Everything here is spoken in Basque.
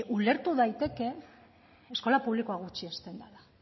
ulertu daiteke eskola publikoa gutxiesten dela